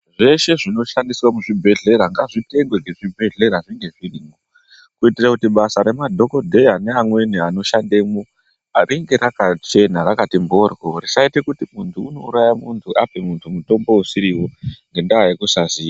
Zveshe zvino shandiswa mu zvibhedhlera ngazvi tengwe nge zvibhedhlera zvinge zvirimo kuitira kuti basa re madhokodheya ne amweni ano shandemwo ringe raka chena rakati mboryo risa ite kuti muntu uno uraye muntu ape muntu mutombo usiriwo ngenda yekusa ziya.